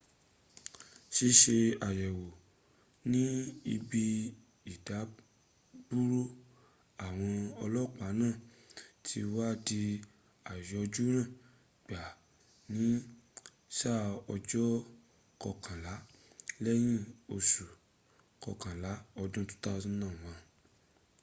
ṣíṣe àyẹ̀wò ní ibi ìdádúró àwọn ọlọ́pàá náà ti wá di àyọjúràn gbáà in sáà ọjọ́ kọkànlá lẹ́yìn osù kọkànlá ọdún 2001